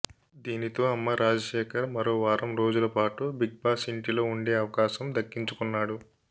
దీనితో అమ్మ రాజశేఖర్ మరో వారం రోజుల పాటు బిగ్ బాస్ ఇంటిలో ఉండే అవకాశం దక్కించుకున్నాడు